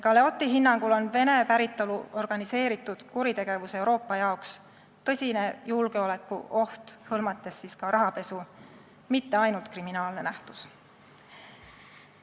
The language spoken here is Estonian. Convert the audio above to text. Galeotti hinnangul on Vene päritolu organiseeritud kuritegevus, mis hõlmab ka rahapesu, Euroopa jaoks tõsine julgeolekuoht, see ei ole mitte ainult kriminaalne nähtus.